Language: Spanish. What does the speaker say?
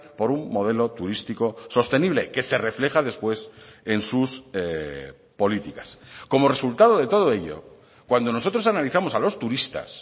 por un modelo turístico sostenible que se refleja después en sus políticas como resultado de todo ello cuando nosotros analizamos a los turistas